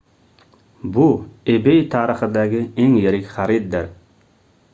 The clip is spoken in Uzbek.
bu ebay tarixidagi eng yirik xariddir